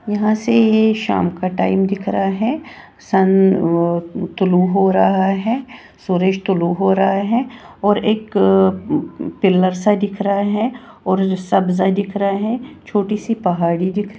यहां से ये शाम का टाइम दिख रहा है सन तुलू हो रहा है सूरज तुलू हो रहा है और एक पिलर सा दिख रहा है और सब्जा दिख रहा है छोटी सी पहाड़ी दिख --